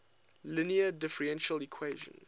linear differential equation